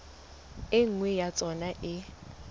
e nngwe ya tsona e